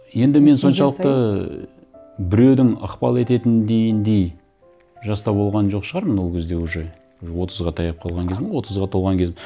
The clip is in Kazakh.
енді мен соншалықты біреудің ықпал ететін жаста болған жоқ шығармын ол кезде уже отызға таяп қалған кезім отызға толған кезім